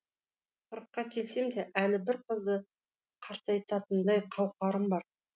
қырыққа келсем де әлі бір қызды қартайтатындай қауқарым бар